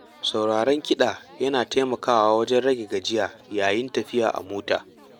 Sauraron kiɗa yana taimakawa wajen rage gajiya yayin tafiya a mota.